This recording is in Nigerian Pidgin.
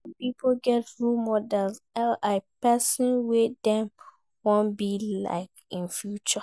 Some pipo get role models i.e persin wey dem won be like in future